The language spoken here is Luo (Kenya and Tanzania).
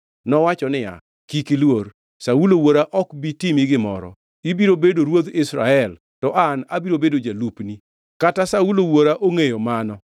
Nowacho niya, “Kik iluor. Saulo wuora ok bi timi gimoro. Ibiro bedo ruodh Israel, to an abiro bedo jalupni. Kata Saulo wuora ongʼeyo mano.”